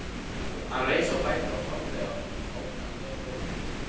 Hann reis á fætur og horfði ógnandi á stóran risann.